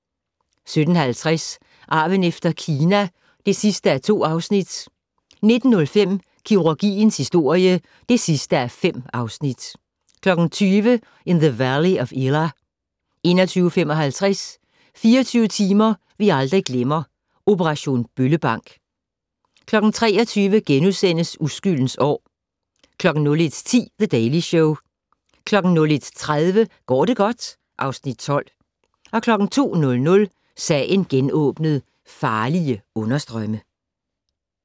17:50: Arven efter Kina (2:2) 19:05: Kirurgiens historie (5:5) 20:00: In the Valley of Elah 21:55: 24 timer vi aldrig glemmer - Operation Bøllebank 23:00: Uskyldens år * 01:10: The Daily Show 01:30: Går det godt? (Afs. 12) 02:00: Sagen genåbnet: Farlige understrømme